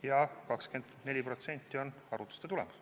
Ja 24% on arvutuste tulemus.